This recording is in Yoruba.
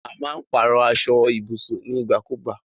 A má n pàrọ̀ aso ibùsùn nígbà kùgba